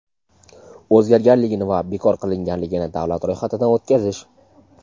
o‘zgarganligini va bekor qilinganligini davlat ro‘yxatidan o‘tkazish.